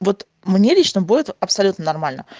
вот мне лично будет абсолютно норально